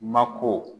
Mako